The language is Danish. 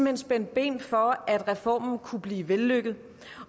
hen spændte ben for at reformen kunne blive vellykket